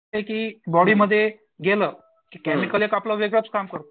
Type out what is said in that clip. की बॉडीमध्ये गेलं की केमिकल एक आपलं वेगळंच काम करतं.